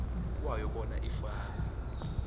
kwayo bona ifakwe